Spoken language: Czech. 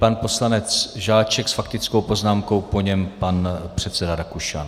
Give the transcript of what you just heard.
Pan poslanec Žáček s faktickou poznámkou, po něm pan předseda Rakušan.